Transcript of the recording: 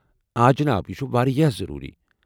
آ، جناب، یہِ چھٗ واریٛاہ ضروٗری۔